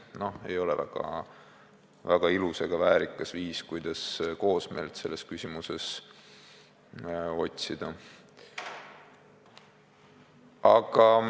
No ei ole väga ilus ega väärikas viis, kuidas selles küsimuses koosmeelt otsida.